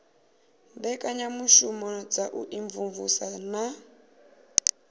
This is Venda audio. mbekanyamushumo dza u imvumvusa na